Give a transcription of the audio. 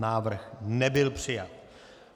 Návrh nebyl přijat.